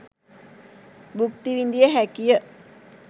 භුක්තිවිඳිය හැකිය.